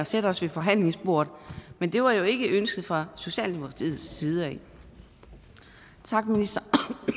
sætte os ved forhandlingsbordet men det var jo ikke ønsket fra socialdemokratiets side tak minister